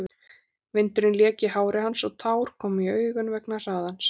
Vindurinn lék í hári hans og tár komu í augun vegna hraðans.